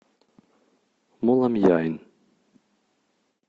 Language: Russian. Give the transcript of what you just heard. моламьяйн